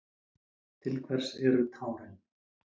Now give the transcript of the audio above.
Til hvers eru tárin?